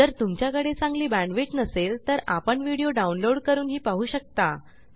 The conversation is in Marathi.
जर तुमच्याकडे चांगली बॅण्डविड्थ नसेल तर आपण व्हिडिओ डाउनलोड करूनही पाहू शकता